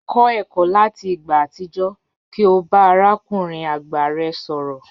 Kọ ẹkọ lati igba atijọ ki o ba arakunrin agba rẹ sọrọ.